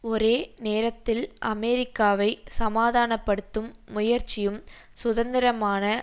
ஒரே நேரத்தில் அமெரிக்காவை சமாதான படுத்தும் முயற்சியும் சுதந்திரமான